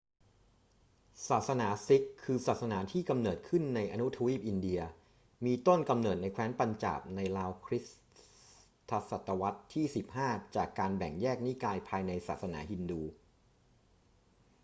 ศาสนาซิกข์ คือศาสนาที่กำเนิดขึ้นในอนุทวีปอินเดีย มีต้นกำเนิดในแคว้นปัญจาบในราวคริสต์ศตวรรษที่ 15 จากการแบ่งแยกนิกายภายในศาสนาฮินดู